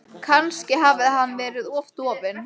Kannski hafði hann verið of dofinn.